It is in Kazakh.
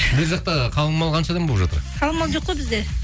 жақта қалың мал қанша болып жатыр қалың мал жоқ қой бізде